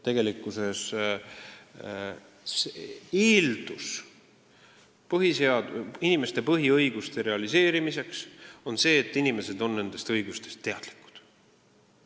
Tegelikkuses on inimeste põhiõiguste realiseerimise eeldus see, et inimesed on nendest õigustest teadlikud.